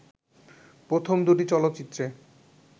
প্রথম দুটি চলচ্চিত্রে